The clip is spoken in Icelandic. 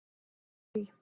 Þurí